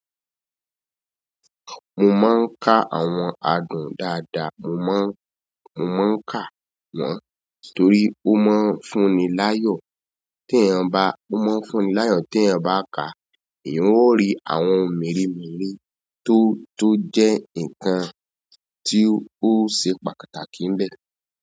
Mo maa n ka àwọn adùn daada, mo maa n ka won, torí o maa n fún ni layo. Tí ẹ̀yan bá, ó máa ń fún ni láyọ̀ tí ẹ̀yan bá ká, ẹ̀yan ó rí àwọn ohun mèremère tó, tó jẹ́ nǹkan tí ó ṣe pàtàkì ń bẹ.